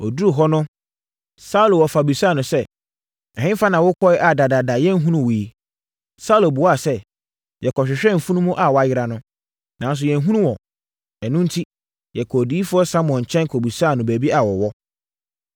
Ɔduruu hɔ no, Saulo wɔfa bisaa no sɛ, “Ɛhefa na wokɔeɛ a dadaada yɛnhunuu wo yi?” Saulo buaa sɛ, “Yɛkɔhwehwɛɛ mfunumu a wɔayera no, nanso yɛanhunu wɔn. Ɛno enti, yɛkɔɔ odiyifoɔ Samuel nkyɛn kɔbisaa no baabi a wɔwɔ.”